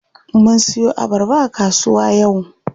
Mun siyo abarba a kasuwa yau.